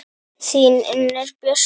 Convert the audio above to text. Þín, Unnur Björk.